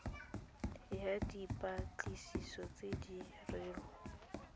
ya dipatlisiso tse di dirwang